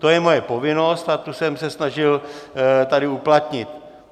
To je moje povinnost a to jsem se snažil tady uplatnit.